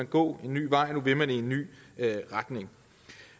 gå en ny vej nu vil man i en ny retning